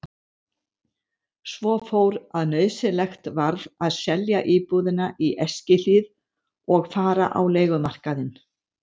Svo fór að nauðsynlegt varð að selja íbúðina í Eskihlíð og fara á leigumarkaðinn.